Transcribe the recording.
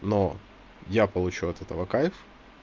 но я получу от этого кайф